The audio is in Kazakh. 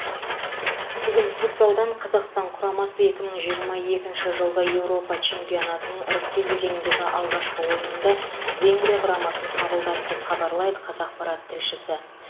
бүгін футзалдан қазақстан құрамасы екі мың жиырма екінші жылғы еуропа чемпионатының іріктеу кезеңіндегі алғашқы ойынында венгрия құрамасын қабылдады деп хабарлайды қазақпарат тілшісі